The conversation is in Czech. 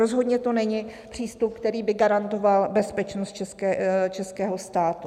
Rozhodně to není přístup, který by garantoval bezpečnost českého státu.